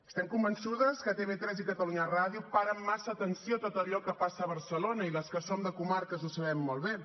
estem convençudes que tv3 i catalunya ràdio paren massa atenció a tot allò que passa a barcelona i les que som de comarques ho sabem molt bé